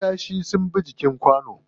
Kiyashi ne suka bi jikin kwanon.